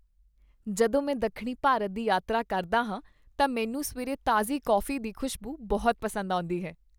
ਜਦੋਂ ਮੈਂ ਦੱਖਣੀ ਭਾਰਤ ਦੀ ਯਾਤਰਾ ਕਰਦਾ ਹਾਂ ਤਾਂ ਮੈਨੂੰ ਸਵੇਰੇ ਤਾਜ਼ੀ ਕੌਫ਼ੀ ਦੀ ਖੁਸ਼ਬੂ ਬਹੁਤ ਪਸੰਦ ਆਉਂਦੀ ਹੈ।